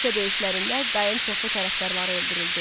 Küçə döyüşlərində Qayın çoxlu tərəfdarı öldürüldü.